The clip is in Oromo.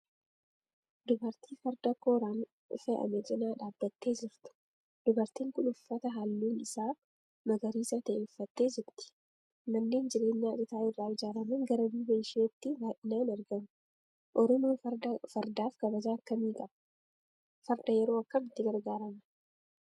Dubartii farda kooraan fe'ame cinaa dhaabattee jirtu. Dubartiin kun uffata halluun isaa magariisa ta'e uffattee jirti. Manneen jireenyaa citaa irraa ijaaraman gara duuba isheetiin baay'atanii argamu. Oromoon fardaaf kabaja akkamii qaba? Farda yeroo kam itti gargaarama?